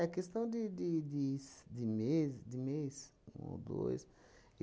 É questão de de des de mes de mês um ou dois.